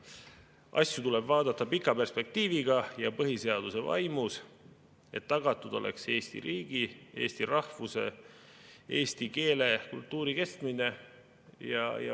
Asju tuleb vaadata pika perspektiiviga ja põhiseaduse vaimus, et tagatud oleks Eesti riigi, eesti rahvuse, eesti keele ja kultuuri kestmine.